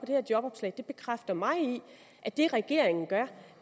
det her jobopslag bekræfter mig i at det regeringen gør